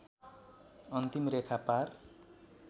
अन्तिम रेखा पार